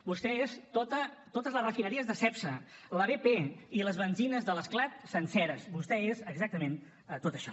vostè és totes les refineries de cepsa la bp i les benzines de l’esclat senceres vostè és exactament tot això